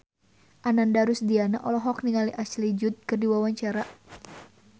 Ananda Rusdiana olohok ningali Ashley Judd keur diwawancara